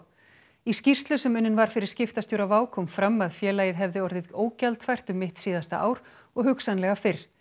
í skýrslu sem unnin var fyrir skiptastjóra WOW kom fram að félagið hefði orðið ógjaldfært um mitt síðasta ár og hugsanlega fyrr